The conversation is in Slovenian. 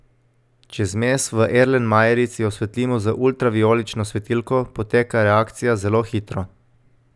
Če zmes v erlenmajerici osvetlimo z ultravijolično svetilko, poteka reakcija zelo hitro.